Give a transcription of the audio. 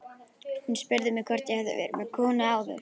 Hún spurði mig hvort ég hefði verið með konu áður?